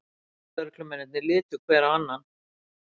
Rannsóknarlögreglumennirnir litu hver á annan.